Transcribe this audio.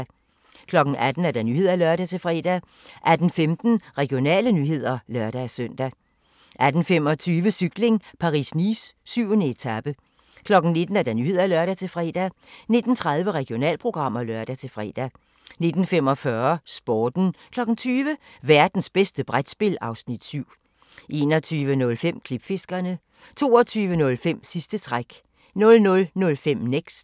18:00: Nyhederne (lør-fre) 18:15: Regionale nyheder (lør-søn) 18:25: Cykling: Paris-Nice - 7. etape 19:00: Nyhederne (lør-fre) 19:30: Regionalprogram (lør-fre) 19:45: Sporten 20:00: Værtens bedste brætspil (Afs. 7) 21:05: Klipfiskerne 22:05: Sidste træk 00:05: Next